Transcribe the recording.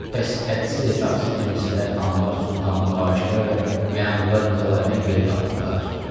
Pəs hədsiz-hesabsız prinslər, xanlar, sultanlar, hakimlər və məmurlar Nikolaydan geri qalırlar?